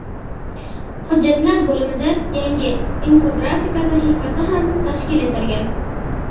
Hujjatlar bo‘limida yangi Infografika sahifasi ham tashkil etilgan.